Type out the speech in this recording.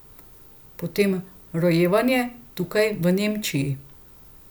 Potem rojevanje, tukaj, v Nemčiji.